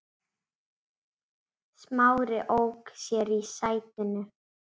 Smári ók sér í sætinu.